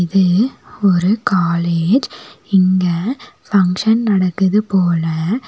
இது ஒரு காலேஜ் இங்க பங்க்ஷன் நடக்குது போல.